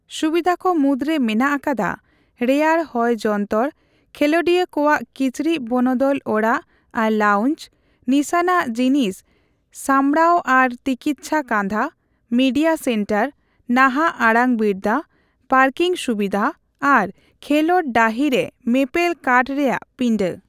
ᱥᱩᱵᱤᱫᱷᱟᱹ ᱠᱚ ᱢᱩᱫᱽᱨᱮ ᱢᱮᱱᱟᱜ ᱟᱠᱟᱫᱟ ᱨᱮᱭᱟᱲ ᱦᱚᱭ ᱡᱚᱱᱛᱚᱨ, ᱠᱷᱮᱹᱳᱰᱤᱭᱟᱹ ᱠᱚᱣᱟᱜ ᱠᱤᱪᱨᱤᱡᱽ ᱵᱚᱱᱚᱫᱚᱞ ᱚᱲᱟᱜ ᱟᱨ ᱞᱟᱣᱩᱧᱪ, ᱱᱤᱥᱟᱹᱱᱟᱜ ᱡᱤᱱᱤᱥ ᱥᱟᱸᱵᱽᱲᱟᱣ ᱟᱨ ᱛᱤᱠᱤᱪᱪᱷᱟ ᱠᱟᱸᱫᱷᱟ, ᱢᱤᱰᱤᱭᱟ ᱥᱮᱱᱴᱟᱨ, ᱱᱟᱦᱟᱜ ᱟᱲᱟᱝᱵᱤᱨᱫᱟᱹ, ᱯᱟᱨᱠᱤᱝ ᱥᱩᱵᱤᱫᱷᱟ ᱟᱨ ᱠᱷᱮᱹᱞᱳᱰ ᱰᱟᱺᱦᱤ ᱨᱮ ᱢᱮᱯᱮᱞ ᱠᱟᱴᱷ ᱨᱮᱭᱟᱜ ᱯᱤᱸᱰᱟᱹ ᱾